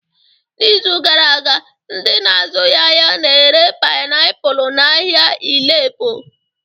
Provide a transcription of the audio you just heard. N'izu gara aga, ndị na-azụghị ahịa na-ere painiapulu n'ahịa Ile Epo